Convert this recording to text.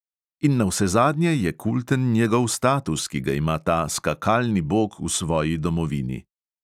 In navsezadnje je kulten njegov status, ki ga ima ta skakalni bog v svoji domovini.